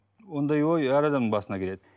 ондай ой әр адамның басына келеді